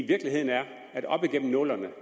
virkeligheden er at op gennem nullerne